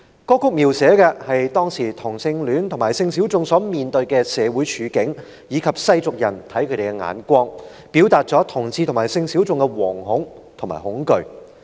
歌曲描寫當時同性戀和性小眾在社會上所面對的處境及世俗人看他們的目光，表達出同志和性小眾惶恐的心情和內心的恐懼。